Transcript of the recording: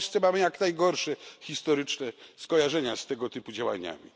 W Polsce mamy jak najgorsze historyczne skojarzenia z tego typu działaniami.